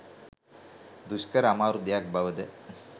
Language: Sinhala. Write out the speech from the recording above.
දුෂ්කර, අමාරු දෙයක් බව ද